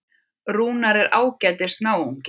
Rúnar er ágætis náungi.